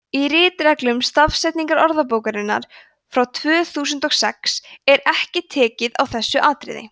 í ritreglum stafsetningarorðabókarinnar frá tvö þúsund og sex er ekki tekið á þessu atriði